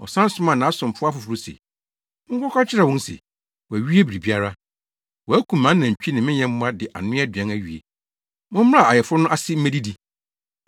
“Ɔsan somaa nʼasomfo afoforo se, ‘Monkɔka nkyerɛ wɔn se, wɔawie biribiara. Wɔakum mʼanantwi ne me nyɛmmoa de anoa aduan awie. Mommra ayeforo no ase mmedidi!’